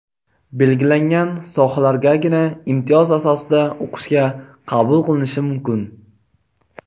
belgilangan sohalargagina imtiyoz asosida o‘qishga qabul qilinishi mumkin.